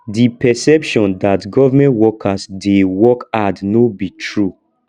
di perception dat government workers dey work hard no be true